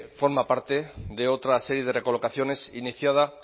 forma parte de otra serie de recolocaciones iniciada